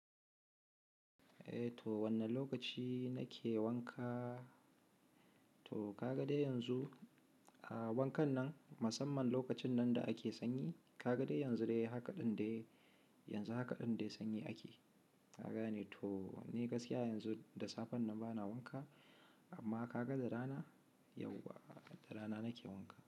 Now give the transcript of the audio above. Eh to wanne lokaci na ke wanka? To ka ga dai yanzu, a wankan nan, musamman lokacin nan da ake sanyi, ka ga dai yanzu dai haka din dai, yanzu haka din dai sanyi ake. Ka gane? To ni gaskiya yanzu da safen nan bana wanka amma ka ga da rana, yauwa da rana na ke wanka.